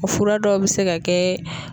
O fura dɔw bi se ka kɛ